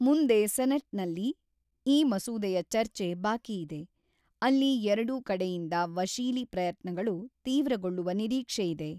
ಮುಂದೆ ಸೆನೆಟ್‌ನಲ್ಲಿ ಈ ಮಸೂದೆಯ ಚರ್ಚೆ ಬಾಕಿಯಿದೆ, ಅಲ್ಲಿ ಎರಡೂ ಕಡೆಯಿಂದ ವಶೀಲಿ ಪ್ರಯತ್ನಗಳು ತೀವ್ರಗೊಳ್ಳುವ ನಿರೀಕ್ಷೆಯಿದೆ.